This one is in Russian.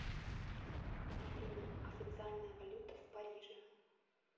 афина официальная валюта в париже